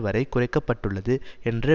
வரை குறைக்க பட்டுள்ளது என்ற